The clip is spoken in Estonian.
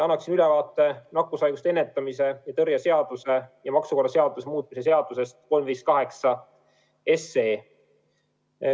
Annan ülevaate nakkushaiguste ennetamise ja tõrje seaduse ja maksukorralduse seaduse muutmise seaduse eelnõust 358.